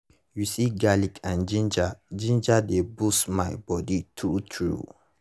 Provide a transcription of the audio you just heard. you see garlic and ginger ginger dey boost my body true true